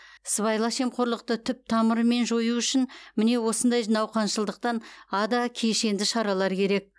сыбайлас жемқорлықты түп тамырымен жою үшін міне осындай науқаншылдықтан ада кешенді шаралар керек